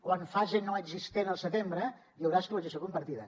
o en fase no existent al setembre hi haurà escolarització compartida